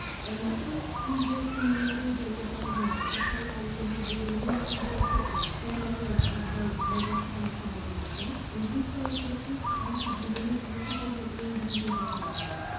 алматы фтизиопульмонология орталығының жұқпалы аурулар бөлімінің меңгерушісі пульмонолог абзал малбасқановтың айтуынша инфекциялық процесс антидененің екі түрін өндірумен қатар жүреді